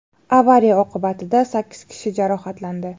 Avariya oqibatida sakkiz kishi jarohatlandi.